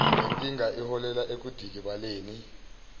lenkinga iholela ekudikibaleni